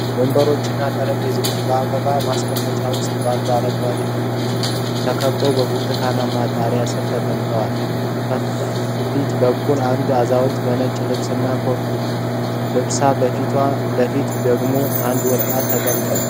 ወንበሮችና ጠረጴዛዎች በአበባ ማስቀመጫ ውስጥ ባሉ አረንጓዴ ተክሎች ተከበው በብርቱካናማ ጣሪያ ስር ተቀምጠዋል። ከፊት በኩል አንድ አዛውንት በነጭ ልብስና ኮፍያ ለብሰዋል ፣ በካፌው ፊት ለፊት ደግሞ አንድ ወጣት ተቀምጧል።